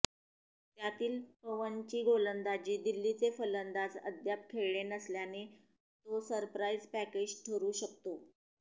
त्यातील पवनची गोलंदाजी दिल्लीचे फलंदाज अद्याप खेळले नसल्याने तो सरप्राईज पॅकेज ठरू शकतो